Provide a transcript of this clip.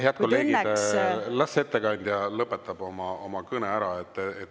Head kolleegid, las ettekandja lõpetab oma kõne ära.